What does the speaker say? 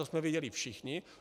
To jsme viděli všichni.